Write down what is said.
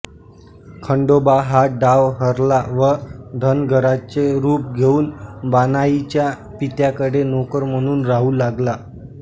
खंडोबा हा डाव हरला व धनगराचे रूप घेऊन बाणाईच्या पित्याकडे नोकर म्हणून राहू लागला